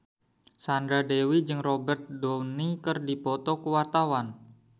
Sandra Dewi jeung Robert Downey keur dipoto ku wartawan